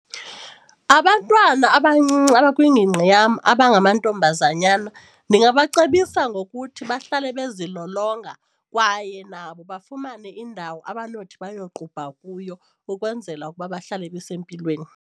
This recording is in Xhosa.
Abantwana abancinci abakwingingqi yam abangamantombazanyana ndingabacebisa ngokuthi bahlale bezilolonga kwaye nabo bafumane iindawo abanothi bayoqubha kuyo ukwenzela ukuba bahlale besempilweni.